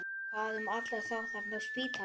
Hvað um alla þá þarna á spítalanum?